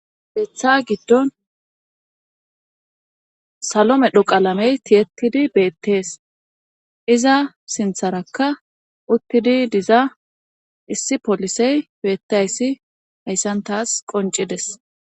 Betha giddon salo medho qalamey tiyettidi beettees iza sintharakka uttidi diza issi polisey boettayssi hayssan taas qoncides